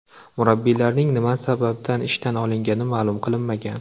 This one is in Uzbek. Murabbiylarning nima sababdan ishdan olingani ma’lum qilinmagan.